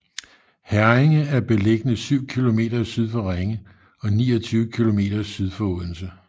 Herringe er beliggende syv kilometer syd for Ringe og 29 kilometer syd for Odense